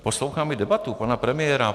Poslouchám i debatu pana premiéra.